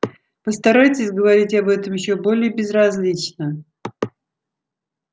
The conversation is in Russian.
постарайтесь говорить об этом ещё более безразлично